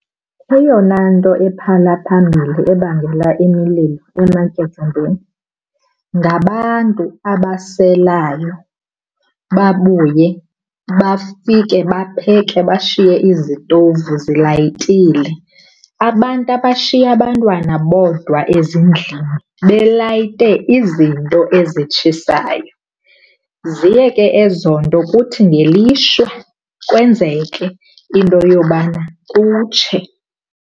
Eyona nto ephala phambili ebangela imililo ematyotyombeni ngabantu abaselayo babuye bafike bapheke bashiye izitovu zilayitile. Abantu abashiya abantwana bodwa ezindlini belayite izinto ezitshisayo. Ziye ke ezo nto kuthi ngelishwa kwenzeke into yobana kutshe.